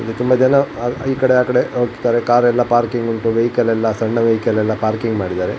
ಇಲ್ಲಿ ತುಂಬಾ ಜನ ಈ ಕಡೆ ಆ ಕಡೆ ಹೋಗ್ತಾರೆ ಕಾರ್ ಎಲ್ಲ ಪಾರ್ಕಿಂಗ್ ಉಂಟು ವೆಹಿಕಲ್ ಎಲ್ಲ ಸಣ್ಣ ವೆಹಿಕಲ್ ಎಲ್ಲ ಪಾರ್ಕಿಂಗ್ ಮಾಡಿದ್ದಾರೆ.